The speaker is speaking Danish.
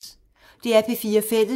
DR P4 Fælles